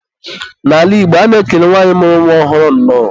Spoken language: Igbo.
N'ala Igbo, a na-ekele nwanyị mụrụ nwa ọhụrụ, nnọọ.